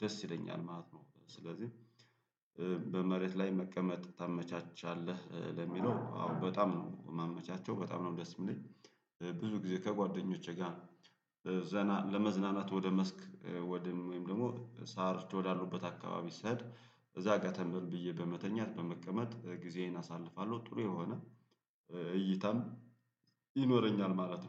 ደስ ይለኛል ማለት ነው። ስለዚህ። በመሬት ላይ መቀመጥ ታመቻቻለህ ለሚለው አዎ በጣም ነው ማመቻቸው በጣም ነው ደስ የሚለኝ። ብዙ ጊዜ ከጓደኞቼ ጋር ለመዝናናት ወደ መስክ ወደ ወይም ደግሞ ሳር ወዳለበት አካባቢ ስሄድ እዛ ገተም ብዬ በመተኛት በመቀመጥ ጊዜዬን አሳልፋለሁ። ጥሩ የሆነ እይታም ይኖረኛል ማለት ነው